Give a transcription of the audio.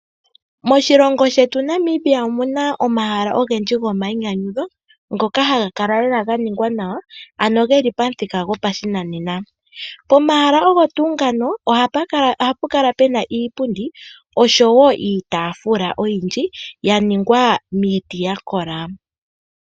Moshilongo shetu Namibia omuna omahala ogendji gomainyanyudho ngoka haga kala lela ga ningwa nawa, ano geli pamuthika gopashinanena. Pomahala ogo tuu ngano ohapu kala puna iipundi oshowo iitaafula oyindji, ya ningwa miiti ya kola.